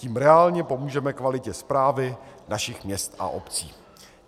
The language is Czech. Tím reálně pomůžeme kvalitě správy našich měst a obcí.